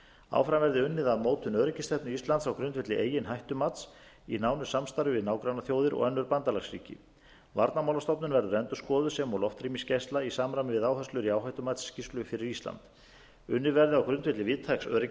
áfram verði unnið að mótun öryggisstefnu íslands á grundvelli eigin hættumats í nánu samstarfi við nágrannaþjóðir og önnur bandalagsríki varnarmálastofnun verður endurskoðuð sem og loftrýmisgæsla í samræmi við áherslur í áhættumatsskýrslu fyrir ísland unnið verði á grundvelli víðtæks öryggishugtaks